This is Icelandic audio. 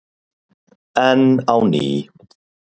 Enn á ný.